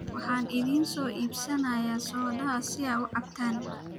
Waxaan idiin soo iibinayaa soodhaha si aad u cabtan